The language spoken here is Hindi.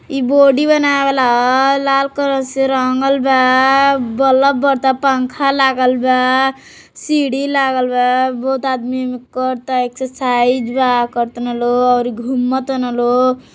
इ बॉडी बनावे वाला है लाल कलर से रंगल बा बलफ बरता पंखा लागल बा सीढ़ी लागल बा मोट आदमी एमें कर ता एक्सरसाइज बा कर ताने लोग अउरी घूम तान लोग |